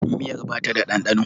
Miyar ba ta da ɗanɗano.